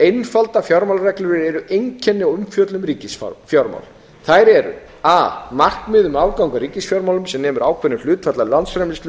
einfaldar fjármálareglur eru einkenni á umfjöllun um ríkisfjármál þær eru a markmið um aðgang að ríkisfjármálum sem nemur ákveðnu hlutfalli af landsframleiðslu